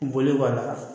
Bɔli b'a la